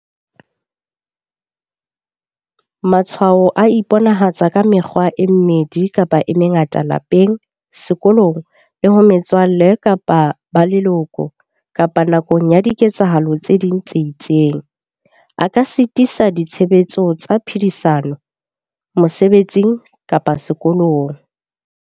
Matshwao a iponahatsa ka mekgwa e mmedi kapa e mengata lapeng, sekolong, le ho metswalle kapa ba leloko kapa nakong ya diketsahalo tse ding tse itseng, a ka sitisa ditshebetso tsa phedisano, mosebetsing kapa sekolong.